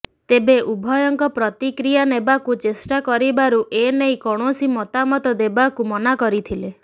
ତେବେ ଉଭୟଙ୍କ ପ୍ରତିକ୍ରିୟା ନେବାକୁ ଚେଷ୍ଟା କରିବାରୁ ଏନେଇ କୌଣସି ମତାମତ ଦେବାକୁ ମନାକରିଥିଲେ